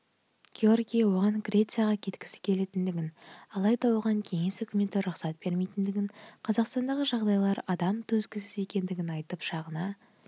геогрий оған грецияға кеткісі келетіндігін алайда оған кеңес үкіметі рұқсат бермейтіндігін қазақстандағы жағдайлары адам төзгісіз екендігін айтып шағына